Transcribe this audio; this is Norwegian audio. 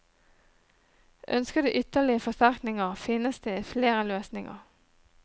Ønsker du ytterligere forsterkninger, finnes det flere løsninger.